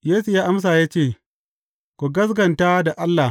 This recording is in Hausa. Yesu ya amsa ya ce, Ku gaskata da Allah.